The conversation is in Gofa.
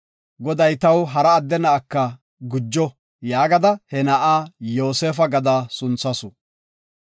Goday taw hara adde na7aka gujo” yaagada he na7a Yoosefa gada sunthasu.